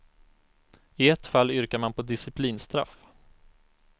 I ett fall yrkar man på disciplinstraff.